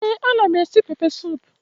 Ee anam esi pepe sup